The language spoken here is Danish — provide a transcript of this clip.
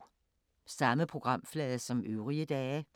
Samme programflade som øvrige dage